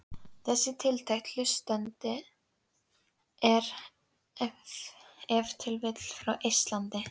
Þessi tiltekni hlustandi er ef til vill frá Eistlandi.